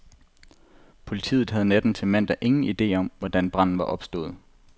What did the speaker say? Politiet havde natten til mandag ingen idé om, hvordan branden var opstået.